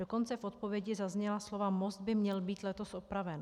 Dokonce v odpovědi zazněla slova: most by měl být letos opraven.